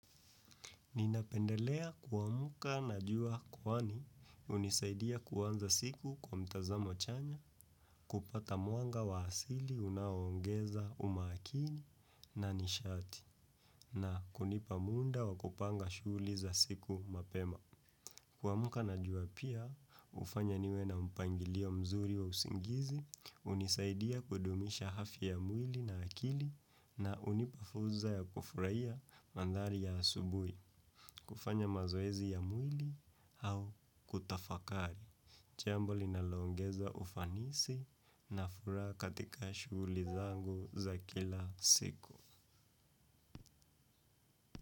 Ninapendelea kuamka na jua kwani hunisaidia kuanza siku kwa mtazamo chanya kuupata mwanga wa asili unaoongeza umakini na nishati na kunipa muda wa kupanga shughuli za siku mapema. Kuamuka na jua pia, hufanya niwe na mpangilio mzuri wa usingizi, hunisaidia kudumisha afya mwili na akili na hunipa fursa ya kufurahia mandhari ya asubuhi, kufanya mazoezi ya mwili au kutafakari. Jambo linaloongeza ufanisi na furaha katika shughuli zangu za kila siku.